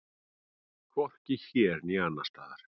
Hvorki hér né annars staðar.